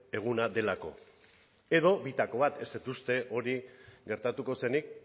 eguna delako edo bitako bat ez dut uste hori gertatuko zenik